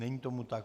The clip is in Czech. Není tomu tak.